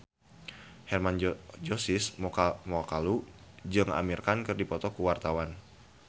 Hermann Josis Mokalu jeung Amir Khan keur dipoto ku wartawan